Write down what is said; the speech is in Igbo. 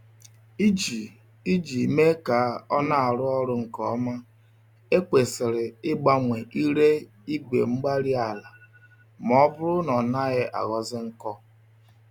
Iji Iji mee ka ọnarụ ọrụ nkè ọma, ekwesịrị igbanwe ire igwe-mgbárí-ala, mọbụrụ na ọnaghị aghọzi nkọ